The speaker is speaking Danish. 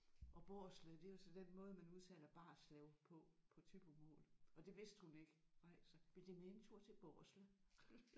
Og Barslev det er jo så den måde man udtaler Barslev på på thybomål og det vidste hun ikke nej så vil De med en tur til Barslev